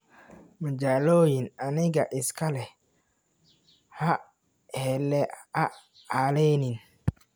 Majaloyin anigaa iska leh, ha halenin.